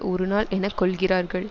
ஒரு நாள் என கொள்கிறார்கள்